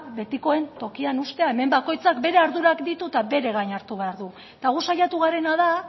betikoen tokian uztea hemen bakoitzak bere ardurak ditu eta bere gain hartu behar du eta gu saiatu garena da